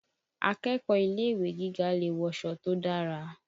Akẹ́kọ̀ọ́ ilé-ìwé gíga lè wọṣọ to dára